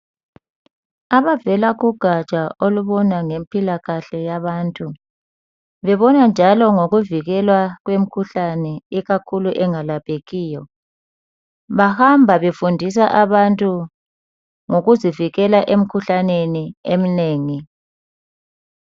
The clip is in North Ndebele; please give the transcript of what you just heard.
Abavela kugatsha olubona ngempilakahle yabantu, bebona njalo ngokuvikela kwemkhuhlane ikakhulu engelaphekiyo bahamba befundisa abantu ngokuzivikela emkhuhlaneni eminengi.